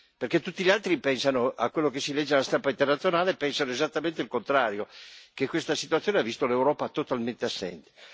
perché tutti gli altri pensano, stando a ciò che si legge sulla stampa internazionale, esattamente il contrario, cioè che questa situazione ha visto l'Europa totalmente assente.